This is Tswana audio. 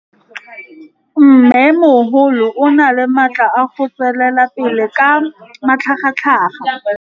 Mmêmogolo o na le matla a go tswelela pele ka matlhagatlhaga.